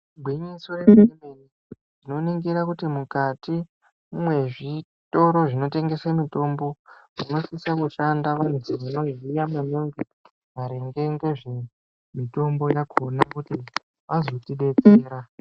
Igwinyiso remene-mene tinoningira kuti mukati mezvitoro zvinotengesa mitombo. Zvinosisa kushanda kuzi vanoziya maningi maringa ngezvemitombo yakona kuti azotibetsera.